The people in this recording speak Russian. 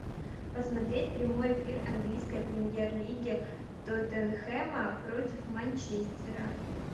посмотреть прямой эфир английской премьер лиги тоттенхэма против манчестера